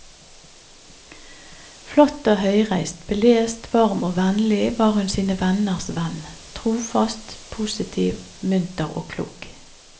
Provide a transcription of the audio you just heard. Flott og høyreist, belest, varm og vennlig, var hun sine venners venn, trofast og positiv, munter og klok.